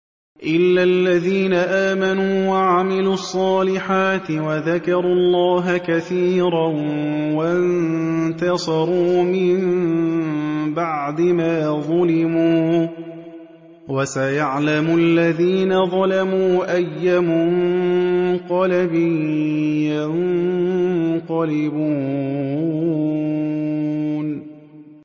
إِلَّا الَّذِينَ آمَنُوا وَعَمِلُوا الصَّالِحَاتِ وَذَكَرُوا اللَّهَ كَثِيرًا وَانتَصَرُوا مِن بَعْدِ مَا ظُلِمُوا ۗ وَسَيَعْلَمُ الَّذِينَ ظَلَمُوا أَيَّ مُنقَلَبٍ يَنقَلِبُونَ